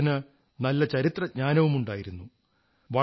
അദ്ദേഹത്തിന് നല്ല ചരിത്രജ്ഞാനവുമുണ്ടായിരുന്നു